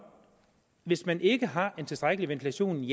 hvis man ikke har en tilstrækkelig ventilation